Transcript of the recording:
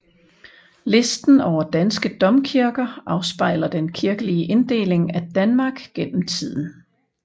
Listen over danske domkirker afspejler den kirkelige inddeling af Danmark gennem tiden